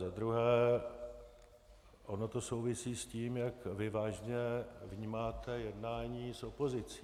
Za druhé, ono to souvisí s tím, jak vy vážně vnímáte jednání s opozicí.